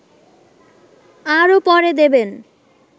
আরও পরে দেবেন